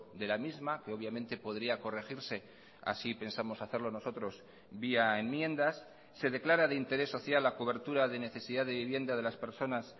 de la misma que obviamente podría corregirse así pensamos hacerlo nosotros vía enmiendas se declara de interés social la cobertura de necesidad de vivienda de las personas